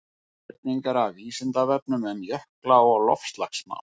Spurningar af Vísindavefnum um jökla og loftslagsmál.